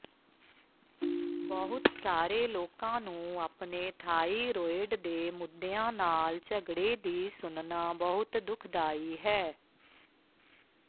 ਬਹੁਤ ਸਾਰੇ ਲੋਕਾਂ ਨੂੰ ਆਪਣੇ ਥਾਈਰੋਇਡ ਦੇ ਮੁੱਦਿਆਂ ਨਾਲ ਝਗੜੇ ਦੀ ਸੁਣਨਾ ਬਹੁਤ ਦੁਖਦਾਈ ਹੈ